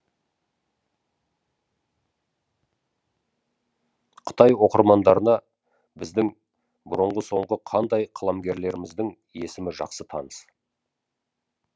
қытай оқырмандарына біздің бұрынғы соңғы қандай қаламгерлеріміздің есімі жақсы таныс